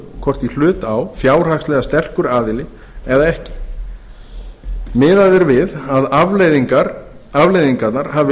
hvort í hlut á fjárhagslega sterkur aðili eða ekki miðað er við að afleiðingarnar hafi